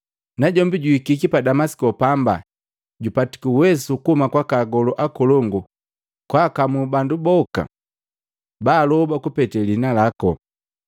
Najombi juikiki pa Damasiko pamba jupatiki uweso kuhuma kwaka agolu akolongu kwakamu bandu boka baaloba kupete liina laku.”